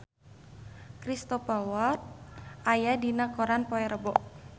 Cristhoper Waltz aya dina koran poe Rebo